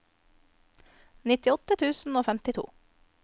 nittiåtte tusen og femtito